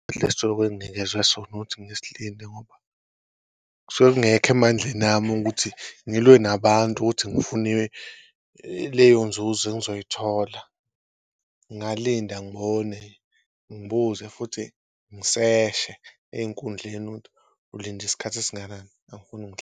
Enginikezwe sona ukuthi ngisilinde ngoba kusuke kungekho emandleni ami ukuthi ngilwe nabantu ukuthi ngifune leyo nzuzo engizoyithola ngalinda, ngibone, ngibuze futhi ngiseshe ey'nkundleni ukuthi ulinda isikhathi esingakanani .